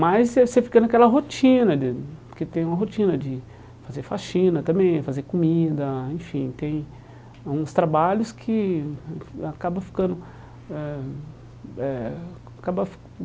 Mas você você fica naquela rotina de, porque tem uma rotina de fazer faxina também, fazer comida, enfim, tem uns trabalhos que acabam ficando eh eh acaba